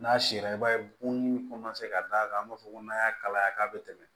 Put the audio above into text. N'a sera i b'a ye bonni ka d'a kan an b'a fɔ n'an y'a kalaya k'a bɛ tɛmɛ